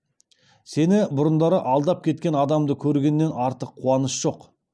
сені бұрындары алдап кеткен адамды көргеннен артық қуаныш жоқ